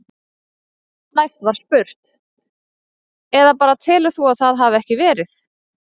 Næst var spurt: Eða bara telur þú að það hafi ekki verið?